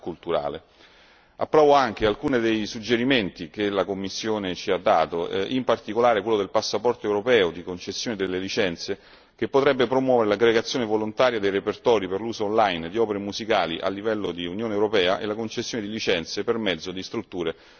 Approvo anche alcuni dei suggerimenti che la Commissione ci ha dato, in particolare quello del passaporto europeo di concessione delle licenze, che potrebbe promuovere l'aggregazione volontaria dei repertori per l'uso online di opere musicali a livello di Unione europea e la concessione di licenze per mezzo di strutture multiterritoriali.